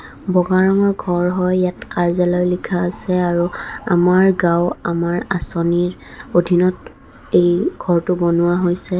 ব'গাৰঙৰ ঘৰ হয় ইয়াত কাৰ্যলয় লিখা আছে আৰু আমাৰ গাওঁ আমাৰ আঁচনী অধীনত এই ঘৰটো বনোৱা হৈছে.